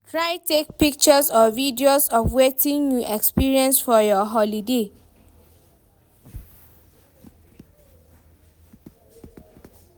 Try take pictures or videos of wetin you experience for your holiday